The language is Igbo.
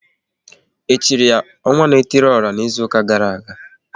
E chiri ya *Ọnwa na etili ora" n'izuka gara aga?